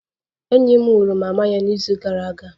Enyi m nwụrụ mama ya n'izu gara aga